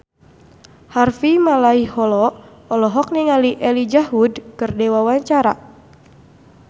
Harvey Malaiholo olohok ningali Elijah Wood keur diwawancara